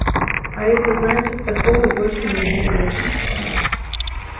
а это значит такого больше нигде нет